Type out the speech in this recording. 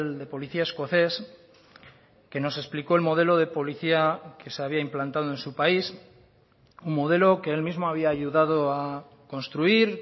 de policía escocés que nos explicó el modelo de policía que se había implantado en su país un modelo que él mismo había ayudado a construir